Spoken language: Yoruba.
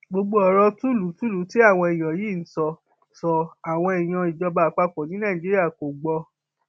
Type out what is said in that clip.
gbogbo ọrọ tuulu tuulu tí àwọn èèyàn yìí ń sọ sọ àwọn èèyàn ìjọba àpapọ ní nàìjíríà kò gbọ